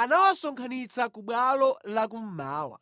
anawasonkhanitsa ku bwalo lakummawa